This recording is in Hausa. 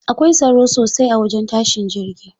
Akwai tsaro sosai a wajen tashin jirgi.